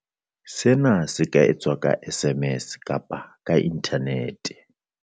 Sena se ka etswa ka SMS kapa ka inthanete.